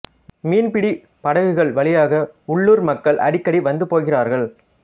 மீன்பிடிப் படகுகள் வழியாக உள்ளூர் மக்கள் அடிக்கடி வந்து போகிறார்கள்